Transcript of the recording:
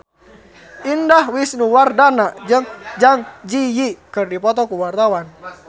Indah Wisnuwardana jeung Zang Zi Yi keur dipoto ku wartawan